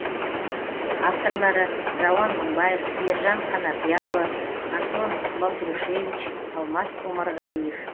авторлары рауан мыңбаев ержан қанапияұлы антон балтрушевич алмас омарғалиев